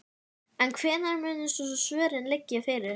En hvenær munu svo svörin liggja fyrir?